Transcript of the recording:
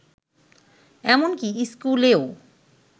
এমনকি স্কুলেও